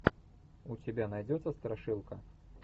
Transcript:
у тебя найдется страшилка